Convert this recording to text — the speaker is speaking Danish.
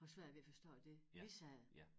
Har svært ved at forstå det vi siger